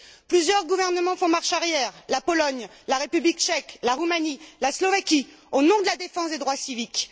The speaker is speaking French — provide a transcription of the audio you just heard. Plusieurs gouvernements font marche arrière la Pologne, la République tchèque, la Roumanie, la Slovaquie au nom de la défense des droits civiques.